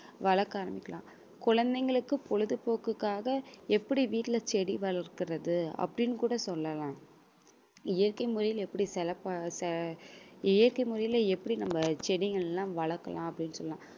வளர்க்க ஆரம்பிக்கலாம் குழந்தைங்களுக்கு பொழுதுபோக்குக்காக எப்பிடி வீட்ல செடி வளர்கிறது அப்படின்னு கூட சொல்லலாம் இயற்கை முறையில எப்பிடி செ~ இயற்கை முறையில எப்பிடி நம்ம செடிகள் எல்லாம் வளர்கலாம் அப்படின்னு சொல்லலாம்